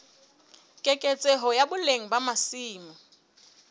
keketseho ya boleng ba masimo